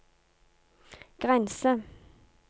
grense